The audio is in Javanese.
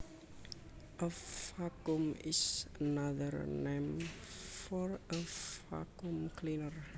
A vacuum is another name for a vacuum cleaner